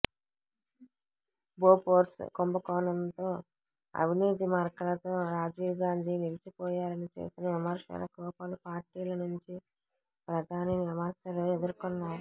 Bofors కుంభకోణంతో అవినీతి మరకలతో రాజీవ్ గాంధి నిలిచిపోయారని చేసిన విమర్శలకు పలు పార్టీల నుండి ప్రధాని విమర్శలు ఎదుర్కోన్నారు